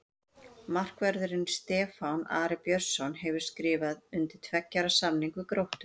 Markvörðurinn Stefán Ari Björnsson hefur skrifað undir tveggja ára samning við Gróttu.